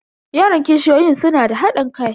Yaran kishiyoyin suna da hadin kai.